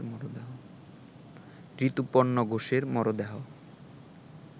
ঋতুপর্ণ ঘোষের মরদেহ